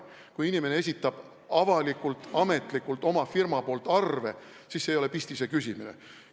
Kui inimene esitab avalikult, ametlikult oma firma poolt arve, siis see ei ole pistise küsimine.